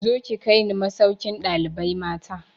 Zo ki kai ni masaukin ɗalibai mata!